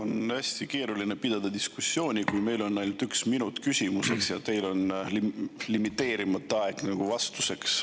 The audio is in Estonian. On hästi keeruline pidada diskussiooni, kui meil on ainult üks minut küsimuseks ja teil on limiteerimata aeg vastuseks.